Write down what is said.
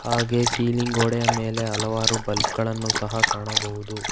ಹಾಗೆ ಸೀಲಿಂಗ್ ಗೋಡೆಯ ಮೇಲೆ ಹಲವಾರು ಬಲ್ಬ್ ಗಳನ್ನು ಸಹ ಕಾಣಬಹುದು.